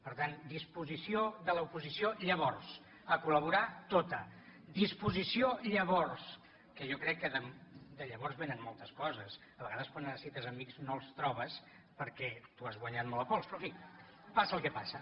per tant disposició de l’oposició llavors a col·laborar tota disposició llavors que jo crec que de llavors vénen moltes coses a vegades quan necessites amics no els trobes perquè t’ho has guanyat molt a pols però en fi passa el que passa